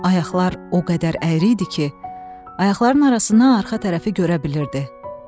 Ayaqlar o qədər əyri idi ki, ayaqlarının arasından arxa tərəfi görə bilirdi.